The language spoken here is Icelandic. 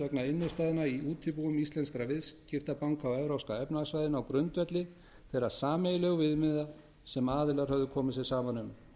vegna innstæðna í útibúum íslenskra viðskiptabanka á evrópska efnahagssvæðinu á grundvelli þeirra sameiginlegu viðmiða sem aðilar höfðu komið sér saman um